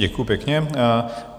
Děkuji pěkně.